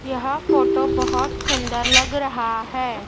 यह फोटो बहोत सुंदर लग रहा है।